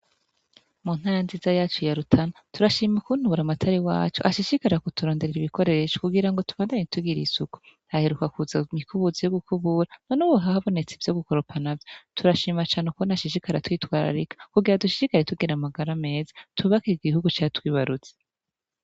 Mu ntana nziza yacu ya lutana turashima ukuntubura amatari wacu hashishikara kuturonderera ibikoresho kugira ngo tubandane tugira ye isuku aheruka kuza mikubuzi yo gukubura none ubuhahe abonetse ivyo gukoropana vyo turashima cane ukko nti ashishikara twitwararika kugira dushishikari tugera amagara meza tubakire igihugu catwibarutze.